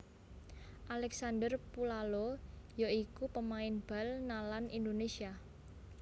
Alexander Pulalo ya iku pamain bal nalan Indonésia